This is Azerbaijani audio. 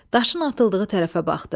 Daşın atıldığı tərəfə baxdı.